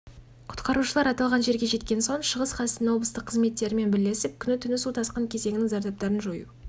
өліміне жол бермеу жөніндегі қажетті шараларды қабылдау мақсатында алматы облысы құтқару күштер және құралдар топтары